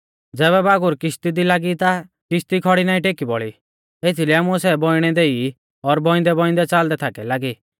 ज़ैबै बागुर किश्ती दी लागी ता किश्ती खौड़ी नाईं टेकी बौल़ी एथीलै आमुऐ सै बौइणै देई और बौइंदैबौइंदै च़ालदै थाकै लागी